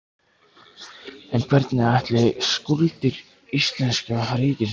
En hvernig ætli skuldir íslenska ríkisins líti út?